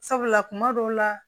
Sabula kuma dɔw la